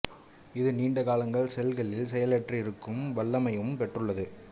இது நீண்ட காலங்கள் செல்களில் செயலற்று இருக்கும் வல்லமையையும் பெற்றுள்ளது